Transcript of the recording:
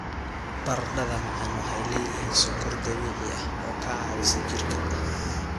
Baradhada macaan waxay leeyihiin sonkor dabiici ah oo ka caawisa jirka.